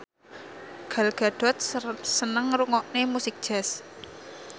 Gal Gadot seneng ngrungokne musik jazz